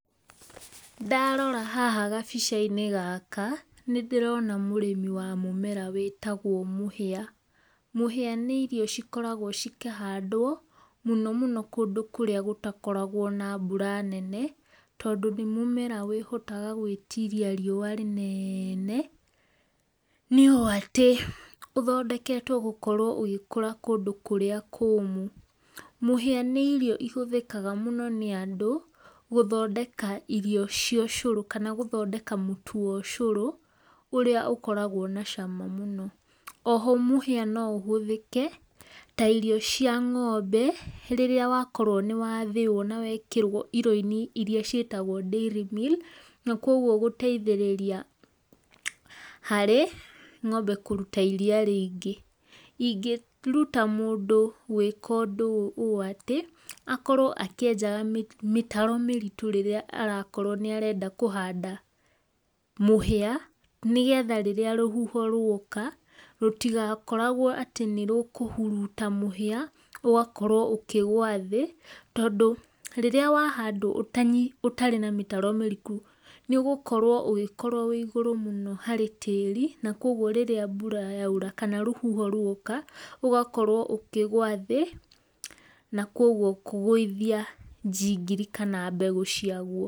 Ndarora haha gabica inĩ gaka nĩ ndirona mũrĩmĩ wa mũmera wĩtagwo mũhĩa. Mũhĩa nĩ irio cikoragwo cikahandwo mũno mũno kũndũ kũrĩa gũtakoragwo na mbũra nene tondũ nĩ mũmera wĩhotaga kwĩtĩrĩa rĩũ rĩnene, nĩ ũ atĩ ũthodeketwo gũkorwo ũgĩkũra kũndũ kũrĩa kũmũ. Mũhĩa nĩ irio ihũthĩkaga mũno nĩ andũ gũthondeka irio cia ũcoro kana gũthondeka mũtu wa ũcoro, ũrĩa ũkoragwo na cama mũno oho mũhĩa no ũhĩthĩke ta irio cia ngombe rĩrĩra wakorwo nĩ wathĩo na wekĩrwo irio inĩ cietagwo dairy meal na kũogwo gũteithĩrĩria harĩ ngombe kũrũta iria rĩngĩ. ĩngerũta mũndũ gwĩka ũndũ ũyũ atĩ akorwo akĩeja mĩtaro mĩritũ rĩrĩa arakorwo nĩarenda kũhanda mũhĩa nĩ getha rũhũho rwoka rũtĩgakoragwo atĩ nĩ rũkũhũrũta mũhĩa, ũgakorwo ũkĩgũa thĩ tũndũ rĩrĩa wahandwo ũtarĩ na mĩtaro mĩrĩkũ nĩ ũgũkorwo ũgĩkorwo wĩ igũru mũno harĩ tarĩ na kũogwo rĩrĩa mbũra yaũra kana rũhũho rwoka rũgagĩkorwo ũkĩgũa thĩ na kũogwo kũgũithia jingiri kana mbegũ ciagũo.